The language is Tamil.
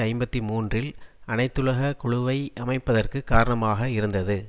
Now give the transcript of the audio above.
ஐம்பத்தி மூன்றில் அனைத்துலக குழுவை அமைப்பதற்கு காரணமாக இருந்தது